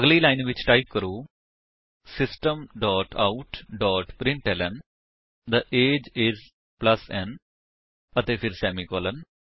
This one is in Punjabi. ਅਗਲੀ ਲਾਇਨ ਟਾਈਪ ਕਰੋ system dot out dot println the AGE IS plus n ਅਤੇ ਫਿਰ ਸੇਮੀਕਾਲਨ